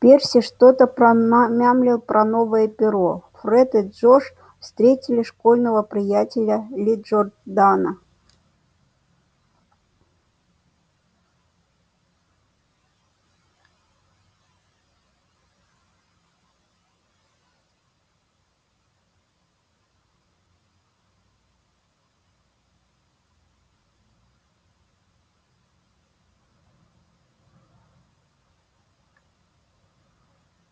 перси что-то промямлил про новое перо фред и джордж встретили школьного приятеля ли джордана